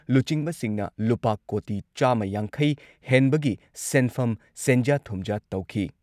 ꯂꯨꯆꯤꯡꯕꯁꯤꯡꯅ ꯂꯨꯄꯥ ꯀꯣꯇꯤ ꯆꯥꯝꯃ ꯌꯥꯡꯈꯩ ꯍꯦꯟꯕꯒꯤ ꯁꯦꯟꯐꯝ ꯁꯦꯟꯖꯥ ꯊꯨꯝꯖꯥ ꯇꯧꯈꯤ ꯫